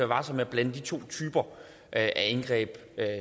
varsom med at blande de to typer af indgreb